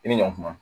I ni ɲɔ kuma